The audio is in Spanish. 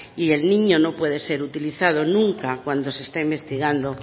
y el niño no puede ser utilizado nunca cuando se esté investigando